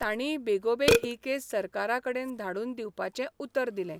तांणीय बेगोबेग ही केस सरकाराकडेन धाडून दिवपाचें उतर दिलें.